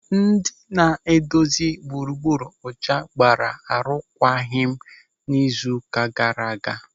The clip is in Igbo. Ndị na-edozi gburugburu ọcha gbara arụkwaghịm n'izu ụka gaara aga.